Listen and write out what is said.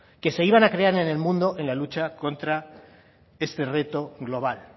que se iban a crear en el mundo en la lucha contra este reto global